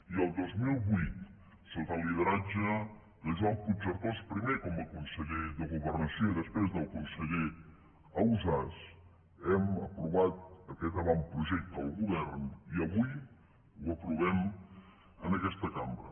i el dos mil vuit sota el lideratge de joan puigcercós primer com a conseller de governació i després del conseller ausàs hem aprovat aquest avantprojecte al govern i avui l’aprovem en aquesta cambra